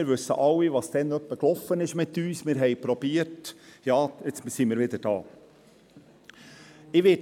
Wir wissen alle, was damals etwa mit uns lief, wir versuchten – ja, nun sind wir wieder an diesem Punkt.